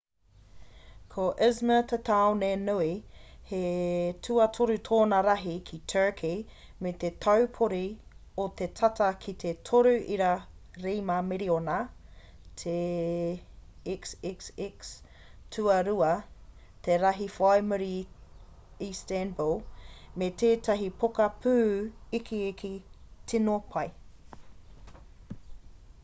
ko izmir te tāone nui he tuatoru tōna rahi ki turkey me te taupori o te tata ki te 3.7 miriona te xxx tuarua te rahi whai muri i istanbul me tētahi poka pū ikiiki tino pai